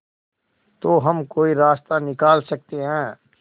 तो हम कोई रास्ता निकाल सकते है